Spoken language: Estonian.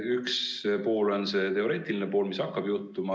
Üks pool on see teoreetiline pool, mis hakkab juhtuma.